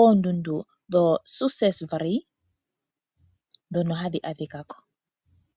oondundu dho Suisesflei dhono hadhi adhika ko.